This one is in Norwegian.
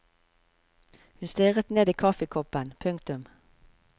Hun stirret ned i kaffekoppen. punktum